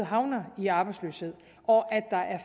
havner i arbejdsløshed og at